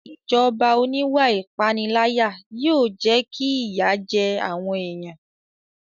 Ìjọba oníwà ìpániláyà yóò jẹ́ kí ìyà jẹ àwọn èèyàn